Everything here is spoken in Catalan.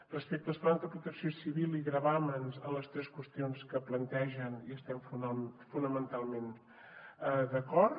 respecte als plans de protecció civil i gravàmens en les tres qüestions que plantegen hi estem fonamentalment d’acord